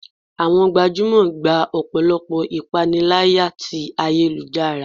awọn gbajúmò gbá ọpọlọpọ ​​ipanilaya tí ayélujará